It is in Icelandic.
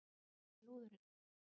Hvar er lúðurinn?